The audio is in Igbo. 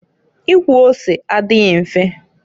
Ikwọ ose adịghị mfe.